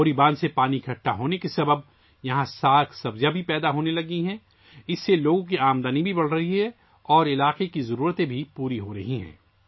بوری dam سے پانی جمع ہونے سے یہاں ساگ سبزیاں بھی اگنا شروع ہو گئی ہیں، جس کی وجہ سے لوگوں کی آمدنی میں بھی اضافہ ہو رہا ہے اور علاقے کی ضروریات بھی پوری ہو رہی ہیں